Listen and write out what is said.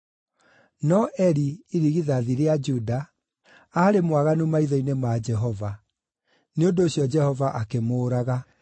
No Eri, irigithathi rĩa Juda, aarĩ mwaganu maitho-inĩ ma Jehova; nĩ ũndũ ũcio Jehova akĩmũũraga.